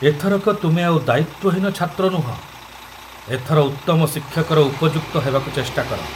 ଏଥରକ ତୁମେ ଆଉ ଦାୟିତ୍ବହୀନ ଛାତ୍ର ନୁହଁ, ଏଥର ଉତ୍ତମ ଶିକ୍ଷକର ଉପଯୁକ୍ତ ହେବାକୁ ଚେଷ୍ଟା କର।